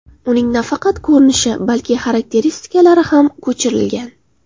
Uning nafaqat ko‘rinishi, balki xarakteristikalari ham ko‘chirilgan.